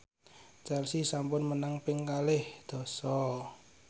Chelsea sampun menang ping kalih dasa